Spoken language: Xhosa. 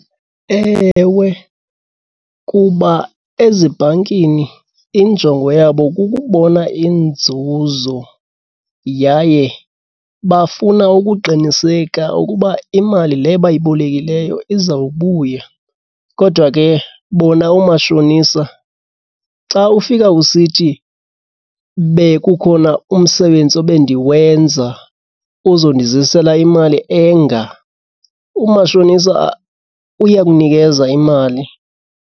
Ewe, kuba ezibhankini injongo yabo kukubona inzuzo yaye bafuna ukuqiniseka ukuba imali le bayibolekileyo izawubuya. Kodwa ke bona oomashonisa xa ufika usithi bekukhona umsebenzi obe ndiwenza ozondizisela imali enga, umashonisa uyakunikeza imali.